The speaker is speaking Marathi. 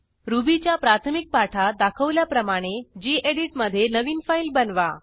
रुबीच्या प्राथमिक पाठात दाखवल्याप्रमाणे गेडीत मधे नवीन फाईल बनवा